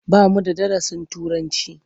Ba mu da darasin Turanci.